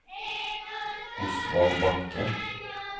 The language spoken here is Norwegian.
Osvald Bakke